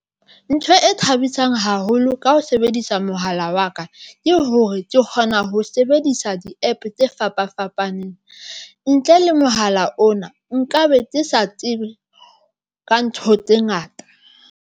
Ntho e thabisang haholo ka ho sebedisa mohala wa ka ke hore ke kgona ho sebedisa di-APP tse fapa fapaneng ntle le mohala ona nkabe ke sa tsebe ka ntho tse ngata.